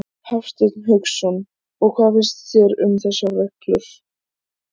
Hafsteinn Hauksson: Og hvað finnst þér um þessar reglur?